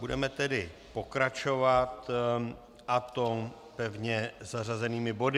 Budeme nyní pokračovat, a to pevně zařazenými body.